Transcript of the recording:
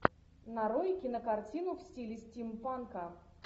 нарой кинокартину в стиле стимпанка